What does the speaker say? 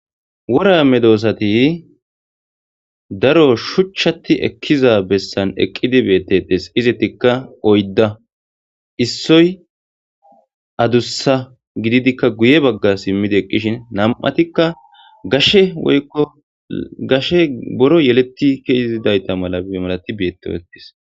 wora medossati daro shuchchatti ekkiza bessan eqqidi beettetes izettikka oydda issoy adussa gididikka guye bagga simmida eqqishin nam'atikka shoykkogashe boru yeletti keezidayta mala malati betetees